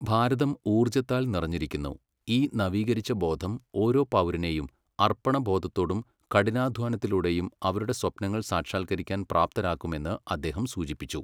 ഭാരതം ഊർജത്താൽ നിറഞ്ഞിരിക്കുന്നു ഈ നവീകരിച്ച ബോധം ഓരോ പൗരനെയും അർപ്പണബോധത്തോടും കഠിനാധ്വാനത്തിലൂടെയും അവരുടെ സ്വപ്നങ്ങൾ സാക്ഷാത്കരിക്കാൻ പ്രാപ്തരാക്കും എന്ന് അദ്ദേഹം സൂചിപ്പിച്ചു.